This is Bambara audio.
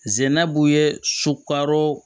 Zɛnabugu ye sokaro